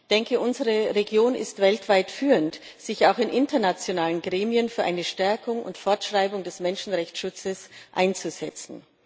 Ich denke, unsere Region ist weltweit führend darin, sich auch in internationalen Gremien für eine Stärkung und Fortschreibung des Menschenrechtsschutzes einzusetzen.